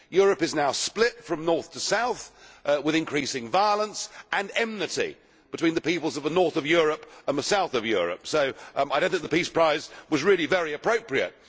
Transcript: Europe is now split from north to south, with increasing violence and enmity between the peoples of the north of Europe and the south of Europe, so I do not think the Peace Prize was really very appropriate.